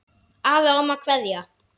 Afi og amma kveðja